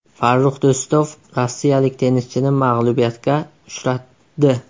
Farrux Do‘stov rossiyalik tennischini mag‘lubiyatga uchratdi.